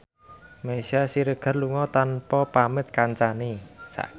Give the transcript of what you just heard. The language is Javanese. Meisya Siregar lunga tanpa pamit kancane